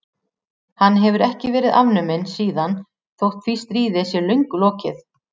Hann hefur ekki verið afnuminn síðan þótt því stríði sé löngu lokið.